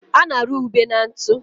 a na-arụ ube na ntụ.